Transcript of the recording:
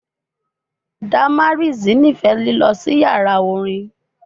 Damaris nifẹ lilọ si yara orin